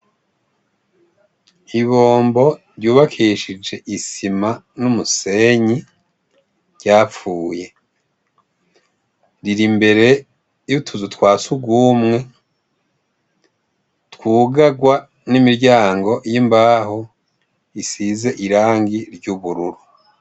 Ibombo ryubakishije isima n'umusenyi ryapfuye, riri imbere y'utuzu twa sugumwe twugarwa n'imiryango y'imbaho isize irangi ry'ubururu.